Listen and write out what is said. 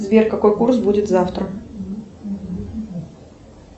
сбер какой курс будет завтра